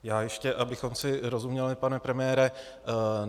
Já ještě, abychom si rozuměli, pane premiére.